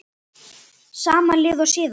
Sama lið og síðast?